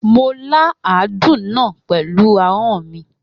Mo la àádún náà pẹ̀lú ahọ́n mi.